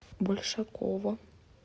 большакова